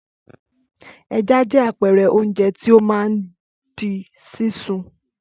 Ẹja jẹ́ àpẹẹrẹ oúnjẹ tí ó máa ń di sísun.